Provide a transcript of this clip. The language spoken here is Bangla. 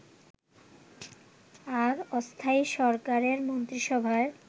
আর অস্থায়ী সরকারের মন্ত্রীসভায়